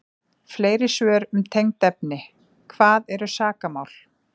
Fleiri svör um tengd efni: Hvað eru sakamál?